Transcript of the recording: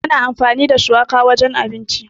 Ana amfani da shuwaka wajen abinci.